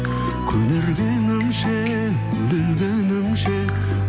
көнергенімше өле өлгенімше